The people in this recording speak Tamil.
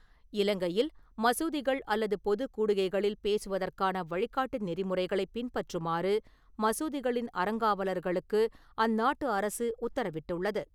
இலங்கையில் மசூதிகள் அல்லது பொது கூடுகைகளில் பேசுவதற்கான வழிகாட்டு நெறிமுறைகளை பின்பற்றுமாறு மசூதிகளின் அறங்காவலர்களுக்கு அந்நாட்டு அரசு உத்தரவிட்டுள்ளது .